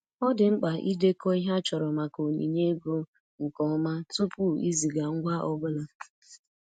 Ọ dị mkpa idekọ ihe a chọrọ maka onyinye ego nke ọma tupu iziga ngwa ọ bụla.